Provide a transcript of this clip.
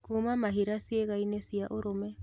Kuuma mahira ciĩgainĩ cia urume